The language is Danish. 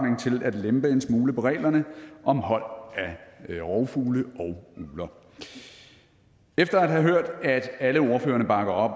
til at lempe en smule på reglerne om hold af rovfugle og ugler efter at have hørt at alle ordførerne bakker op